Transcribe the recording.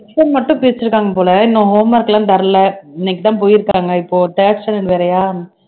section மட்டும் பிரிச்சிகாங்க போல இன்னும் home work எல்லாம் தரலை இன்னைக்குதான் போயிருக்காங்க இப்போ third standard வேறயா